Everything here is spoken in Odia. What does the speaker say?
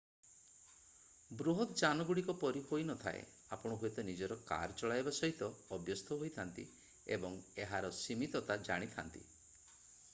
ବୃହତ ଯାନଗୁଡ଼ିକ ପରି ହୋଇନଥାଏ ଆପଣ ହୁଏତ ନିଜର କାର୍ ଚଳାଇବା ସହିତ ଅଭ୍ୟସ୍ତ ହୋଇଥାନ୍ତି ଏବଂ ଏହାର ସୀମିତତା ଜାଣିଥାନ୍ତି